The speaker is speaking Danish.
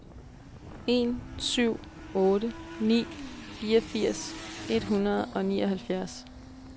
en syv otte ni fireogfirs et hundrede og nioghalvfjerds